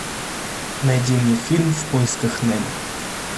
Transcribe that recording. найди мне фильм в поисках немо